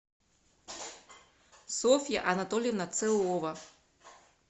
софья анатольевна целова